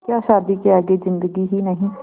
क्या शादी के आगे ज़िन्दगी ही नहीं